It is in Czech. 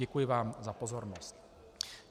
Děkuji vám za pozornost.